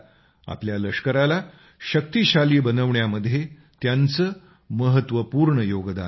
आपल्या लष्कराला शक्तिशाली बनविण्यामध्ये त्यांचं महत्वपूर्ण योगदान आहे